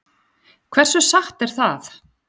Hversu satt er það?